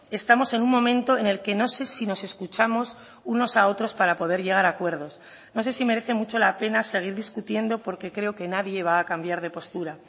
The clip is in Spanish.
estamos en un momento en el que no sé si nos escuchamos unos a otros para poder llegar a acuerdos no sé si merece mucho la pena seguir discutiendo porque creo que nadie va a cambiar de postura